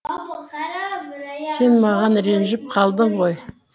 сен маған ренжіп қалдың ғой